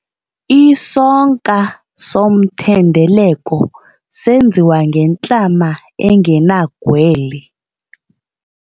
Isonka somthendeleko senziwa ngentlama engenagwele.